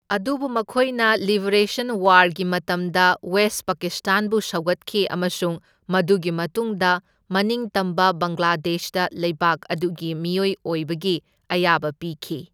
ꯑꯗꯨꯕꯨ ꯃꯈꯣꯏꯅ ꯂꯤꯕꯔꯦꯁꯟ ꯋꯥꯔꯒꯤ ꯃꯇꯝꯗ ꯋꯦꯁꯠ ꯄꯥꯀꯤꯁ꯭ꯇꯥꯟꯕꯨ ꯁꯧꯒꯠꯈꯤ ꯑꯃꯁꯨꯡ ꯃꯗꯨꯒꯤ ꯃꯇꯨꯡꯗ ꯃꯅꯤꯡꯇꯝꯕ ꯕꯡꯒ꯭ꯂꯥꯗꯦꯁꯇ ꯂꯩꯕꯥꯛ ꯑꯗꯨꯒꯤ ꯃꯤꯑꯣꯏ ꯑꯣꯏꯕꯒꯤ ꯑꯌꯥꯕ ꯄꯤꯈꯤ꯫